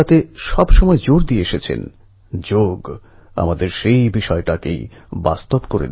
ছাত্ররা পেরেন্টদের ছত্রছায়া থেকে প্রফেসরদের ছত্রছায়াতে প্রবেশ করে